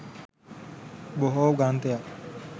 බොහෝ ග්‍රන්ථයන්